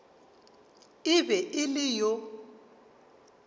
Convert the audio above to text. e be e le yo